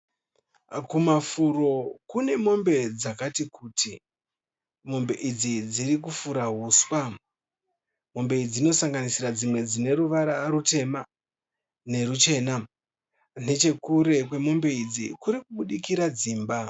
Kumafuro kune mombe dzakati kuti. Mombe idzi dzirikufura huswa. Mombe idzi dzinosanganisira dzimwe dzine ruvara rutema neruchena. Nechekure kwemombe idzi kurikubudikira dzimba.